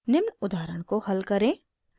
निम्न उदाहरण को हल करें